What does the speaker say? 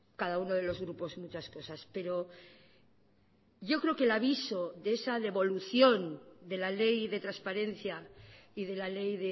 cada uno de los grupos muchas cosas pero yo creo que el aviso de esa devolución de la ley de transparencia y de la ley